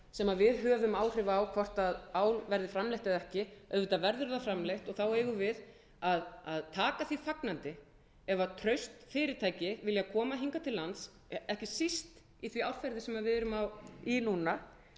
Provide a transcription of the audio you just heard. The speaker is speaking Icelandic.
sem við höfum áhrif á hvort ál verði framleitt eða ekki auðvitað verður það framleitt og þá eigum við að taka því fagnandi ef traust fyrirtæki vilja koma hingað til lands ekki síst í því árferði sem við erum í núna þá eigum við